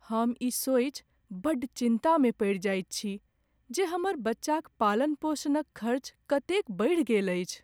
हम ई सोचि बड्ड चिन्तामे पड़ि जाइत छी जे हमर बच्चाक पालन पोषणक खर्च कतेक बढ़ि गेल अछि।